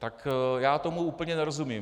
Tak já tomu úplně nerozumím.